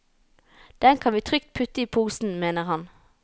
Dem kan vi trygt putte i posen, mener han.